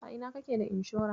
A ina kake da inshora?